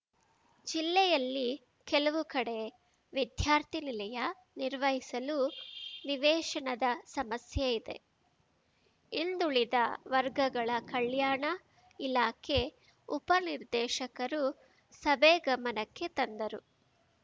ಜಿಲ್ಲೆಯಲ್ಲಿ ಕೆಲವು ಕಡೆ ವಿದ್ಯಾರ್ಥಿ ನಿಲಯ ನಿರ್ವಹಿಸಲು ನಿವೇಶನದ ಸಮಸ್ಯೆ ಇದೆ ಹಿಂದುಳಿದ ವರ್ಗಗಳ ಕಲ್ಯಾಣ ಇಲಾಖೆ ಉಪನಿರ್ದೇಶಕರು ಸಭೆ ಗಮನಕ್ಕೆ ತಂದರು